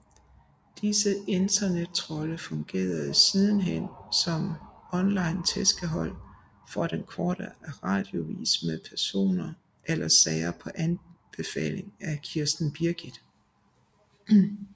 Disse internettrolde fungerede sidenhen som et onlinetæskehold for Den Korte Radioavis mod personer eller sager på befaling af Kirsten Birgit